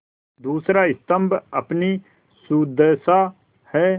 दूसरा स्तम्भ अपनी सुदशा है